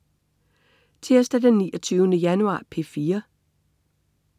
Tirsdag den 29. januar - P4: